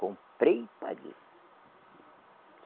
Comprei e paguei.